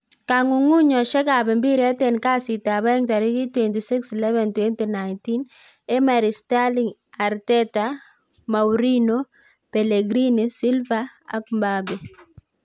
Kong'ung'uyosiekab mpiret en Kasitab aeng tarigit 26/11/2019: Emery, Sterling, Arteta, Mourinho, Pellegrini, Silva, Mbappe